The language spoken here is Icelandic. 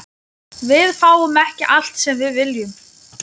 Við fáum ekki allt sem við viljum.